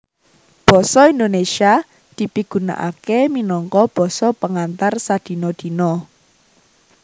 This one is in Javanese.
Basa Indonesia dipigunakaké minangka basa pengantar sadina dina